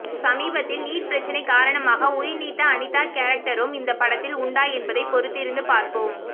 சமீபத்தில் நீட் பிரச்சனை காரணமாக உயிர்நீத்த அனிதா கேரக்டரும் இந்த படத்தில் உண்டா என்பதை பொறுத்திருந்து பார்ப்போம்